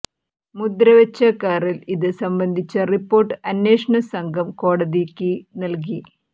മുദ്ര വച്ച കറിൽ ഇത് സംബന്ധിച്ച റിപ്പോർട്ട് അന്വേഷണ സംഘം കോടതിയ്ക്ക് നൽകി